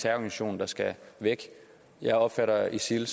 terrororganisation der skal væk jeg opfatter isil